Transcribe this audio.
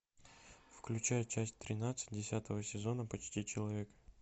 включай часть тринадцать десятого сезона почти человек